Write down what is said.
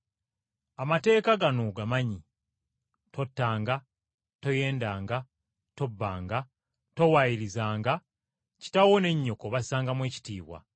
Amateeka gano ogamanyi. ‘Tottanga, toyendanga, tobbanga, towaayirizanga, kitaawo ne nnyoko obassangamu ekitiibwa.’ ”